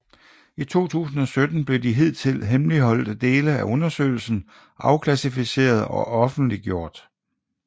I 2017 blev de hidtidigt hemmeligholdte dele af undersøgelsen afklassificeret og offentliggjort